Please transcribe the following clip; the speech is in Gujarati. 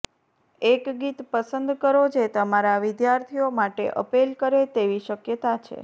એક ગીત પસંદ કરો જે તમારા વિદ્યાર્થીઓ માટે અપીલ કરે તેવી શક્યતા છે